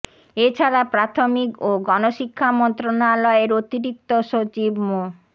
এ ছাড়া প্রাথমিক ও গণশিক্ষা মন্ত্রণালয়ের অতিরিক্ত সচিব মো